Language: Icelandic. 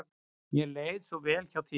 Mér leið svo vel hjá þér.